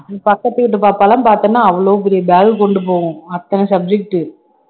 பக்கத்து வீட்டு பாப்பால்லாம் பார்த்தேன்னா அவ்வளவு பெரிய bag கொண்டு போகும். அத்தனை subject உ